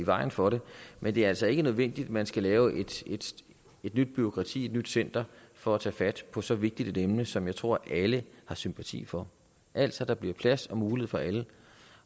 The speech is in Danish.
vejen for det men det er altså ikke nødvendigt at man skal lave et nyt bureaukrati et nyt center for at tage fat på så vigtigt et emne som jeg tror alle har sympati for altså at der bliver plads og mulighed for alle